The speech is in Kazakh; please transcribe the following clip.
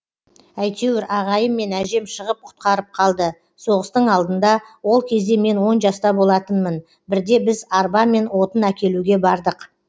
әйтеуір ағайым мен әжем шығып құтқарып қалды соғыстың алдында ол кезде мен он жаста болатынмын бірде біз арбамен отын әкелуге бардық